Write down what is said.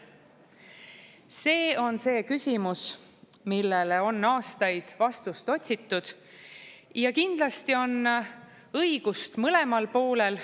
See on see küsimus, millele on aastaid vastust otsitud ja kindlasti on õigus mõlemal poolel.